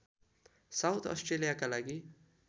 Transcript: south अस्ट्रेलियाका लागि